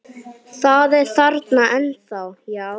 Það er þarna ennþá, já.